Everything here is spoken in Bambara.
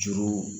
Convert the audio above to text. Juru